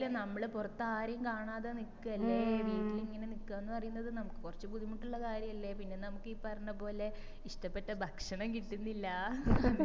ആ time ഇൽ നമ്മള് പോറാത്തരേം കാണാതെ നിക്ക് അല്ലെ വീട്ടില് ഇങ്ങനെ നിക്ക പറയ്ന്നത് നമ്മക്ക് കൊറച് ബുദ്ധിമുട്ട് ഇല്ല കാര്യല്ലേ പിന്നെ നമ്മക്ക് ഈ പറഞ്ഞപോലെ ഇഷ്ട്ടപെട്ട ഭക്ഷണം കിട്ടുന്നില്ല